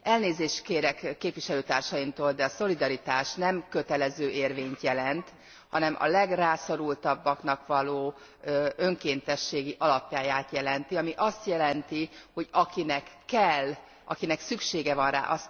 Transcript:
Elnézést kérek képviselőtársaimtól, de a szolidaritás nem kötelező érvényt jelent, hanem a legrászorultabbaknak való önkéntességi alapot jelenti, ami azt jelenti, hogy akinek kell, akinek szüksége van rá.